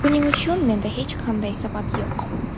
Buning uchun menda hech qanday sabab yo‘q.